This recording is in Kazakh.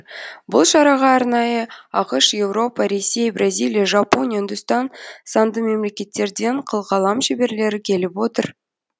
бұл шараға арнайы ақш еуропа ресей бразилия жапония үндістан санды мемлекеттерден қылқалам шеберлері келіп отыр